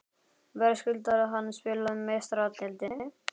Verðskuldar hann spila í Meistaradeildinni?